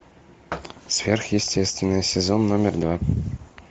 сверхъестественное сезон номер два